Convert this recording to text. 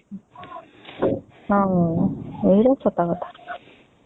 ହୁଁ ଏଇଟା ସତ କଥା